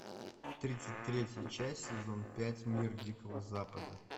тридцать третья часть сезон пять мир дикого запада